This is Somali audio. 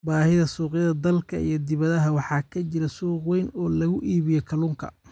Baahida Suuqyada Dalka iyo dibadda waxaa ka jira suuq weyn oo lagu iibiyo kalluunka.